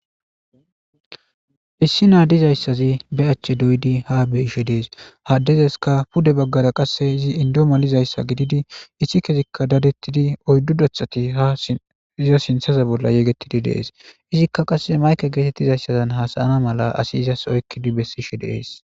issi na dizayssazi be achche doydi ha beishe dees haddezeska pude baggara qasse izi indo malizayssa gididi issi kesikka dadettidi oyddu dathati ha iza sinthaza bolla yegettidi deees izikka qasse mayke geetettizayssazan hasayana mala asi izas oykkidi bessishe deees